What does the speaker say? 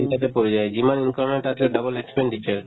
চিন্তাতে পৰি যায় যিমান income হয় তাতকে double expenditure